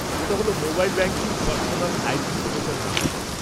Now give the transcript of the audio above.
ওটা হল mobile banking personal identification নম্বর।